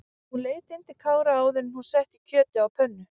Hún leit inn til Kára áður en hún setti kjötið á pönnu.